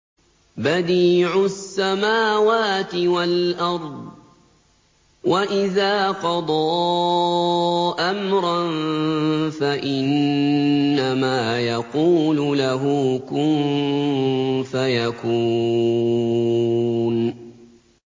بَدِيعُ السَّمَاوَاتِ وَالْأَرْضِ ۖ وَإِذَا قَضَىٰ أَمْرًا فَإِنَّمَا يَقُولُ لَهُ كُن فَيَكُونُ